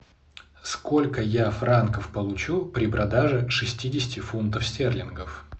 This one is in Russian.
сколько я франков получу при продаже шестидесяти фунтов стерлингов